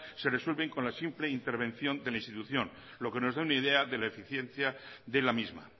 se resuelven con la simple intervención de la institución lo que nos da una idea de la eficiencia de la misma